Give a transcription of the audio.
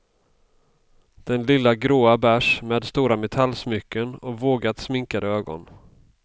Den lilla gråa bärs med stora metallsmycken och vågat sminkade ögon.